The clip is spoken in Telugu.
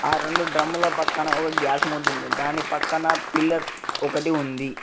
ఆ రెండు డ్రమ్ముల పక్కన ఒక గ్యాస్ మొద్దు ఉంది దాని పక్కన పిల్లర్ ఒకటి ఉంది.